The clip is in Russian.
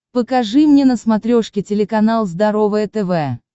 покажи мне на смотрешке телеканал здоровое тв